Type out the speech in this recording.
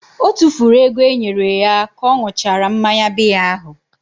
O tufuru ego e nyere ya ka ọ ṅụchara mmanya biya ahụ.